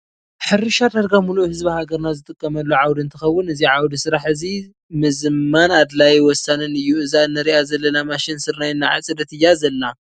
ሕርሻ ዳርጋ ሙሉእ ህዝቢ ሃገርና ዝጥቀመሉ ዓውዲ እትከውን እዚዓውደ ስራሕ እዚ ምዝማን ኣድላይ ወሳኒን እዩ እዛ እንረኣ ዘለና ማሽን ስርናይ እንዳዓፀደት እያ ዘላ።